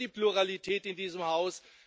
Wir sind für die Pluralität in diesem Haus.